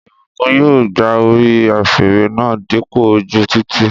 Ìbùkún yóò gba orí afẹ́rẹ́ náà dípò ojú títì